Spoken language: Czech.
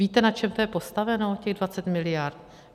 Víte, na čem to je postaveno, těch 20 mld.?